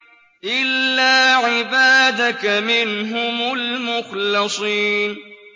إِلَّا عِبَادَكَ مِنْهُمُ الْمُخْلَصِينَ